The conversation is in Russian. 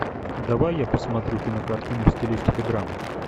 давай я посмотрю кинокартину в стилистике драмы